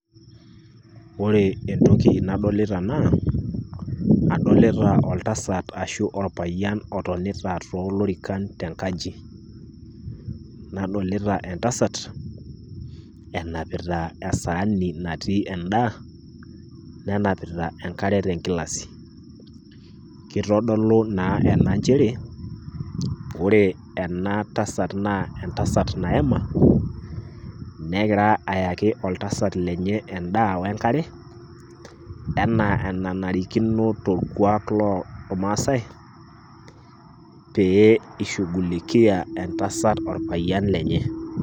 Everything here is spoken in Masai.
Ore entoki nadolita naa adolita oltasat arashu orpayian otonita too lorikan te nkaji, nadolita entasat enapita esaani naatii endaa nenapita enkare tenkilasi. Kitodolu naa ena njere ore ena tasat naa entasat naema negira ayaki oltasat lenye endaa we nkare, enaa enanarikino tolkuak lormaasai pee ishugulikia entasat orpayian lenye.